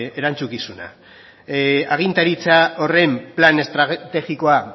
erantzukizuna agintaritza horren plan estrategikoa